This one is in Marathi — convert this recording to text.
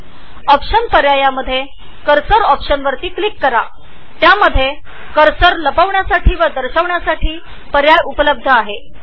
ऑप्शन्स मधील कर्सर ऑप्शन्समध्ये तुम्हाला कर्सर दाखवता किंवा लपवता येतो